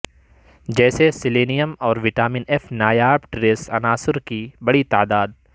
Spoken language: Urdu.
جیسے سیلینیم اور وٹامن ایف نایاب ٹریس عناصر کی ایک بڑی تعداد